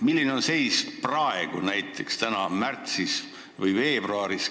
Milline on seis praegu, näiteks märtsis või veebruaris?